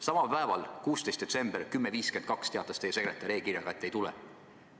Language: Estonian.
Samal päeval, 16. detsembril kell 10.52 teatas teie sekretär e-kirjaga, et te ei tule.